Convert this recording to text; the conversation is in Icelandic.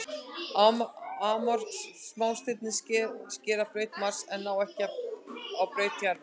Amor smástirnin skera braut Mars en ná ekki að braut jarðar.